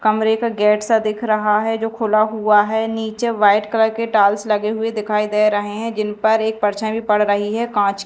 कमरे का गेटसा दिख रहा है जो खुला हुआ है नीचे व्हाइट कलर के टाइल्स लगे हुए दिखाई दे रहे हैं जिनपर एक परछाई भी पढ़ रही है कांच--